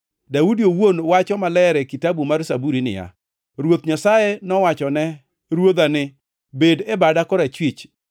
Daudi owuon wacho maler e Kitabu mar Zaburi niya, “ ‘Ruoth Nyasaye nowachone Ruodha ni, “Bed e bada korachwich,